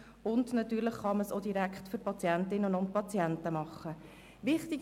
Natürlich kann man diesen Punkt auch bei der Betreuung der Patientinnen und Patienten berücksichtigen.